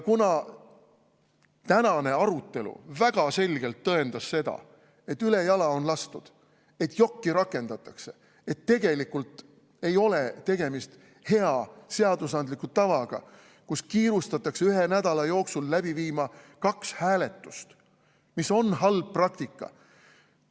Ja tänane arutelu väga selgelt tõendas seda, et ülejala on lastud, et jokki rakendatakse, et tegelikult ei ole tegemist hea seadusandliku tavaga, kus kiirustatakse ühe nädala jooksul läbi viima kaks hääletust, mis on halb praktika.